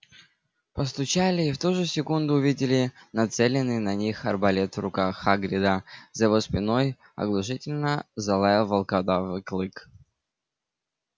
постучали и в ту же секунду увидели нацеленный на них арбалет в руках хагрида за его спиной оглушительно залаял волкодав клык